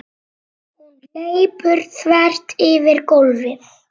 Hún hleypur þvert yfir gólfið.